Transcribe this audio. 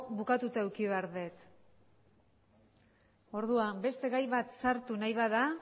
bukatuta eduki behar det orduan beste gai bat sartu nahi bada